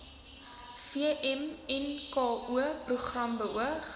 vmnko program beoog